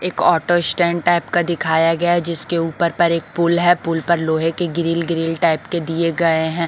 एक auto stand type का दिखाया गया है जिसके ऊपर पर एक पुल है पुल पर लोहे के ग्रील ग्रील टाइप के दिए गए हैं।